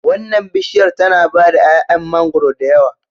Wannan bishiyar tana bada 'ya'yan mangwaro da yawa